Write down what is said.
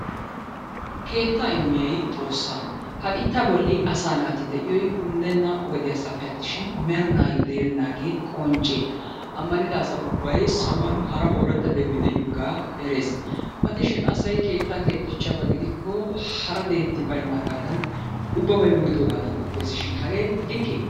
Keettaa immiyay xoossaa. Ha biittaa bolli asaa naati de'iyoy unddenna wodiyassappeshin merinayyo de'ennaagee qoncce. Ammanida asa ubbay saluwan hara ooratta de'oy diyogaa matishin asay keettaa keexxiichiyaba gidikko hara deetti bayinnaagaadan ubbabay wurisoogaadan qoppesishin hagee likkee?